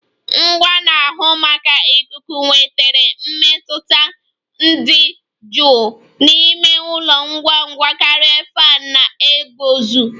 Ngwa na-ahụ maka ikuku wetara mmetụta dị jụụ n'ime ụlọ ngwa ngwa karịa fan na-eguzo